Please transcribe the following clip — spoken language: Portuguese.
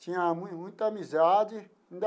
Tinha muita amizade.